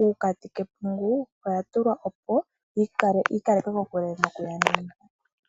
uukati kepungu oyatulwa opo yikale kokule nokuyona.